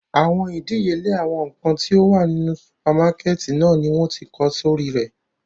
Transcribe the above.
Awọn idiyele awọn nkan ti o wa ninu supamakẹti náa ni wọn ti kọ sori rẹ